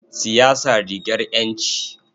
Siyasa rigar ƴanci.